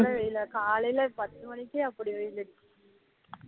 இல்ல இல்ல காலைலே பத்து மணிக்கே அப்படி வெயில் அடிக்கு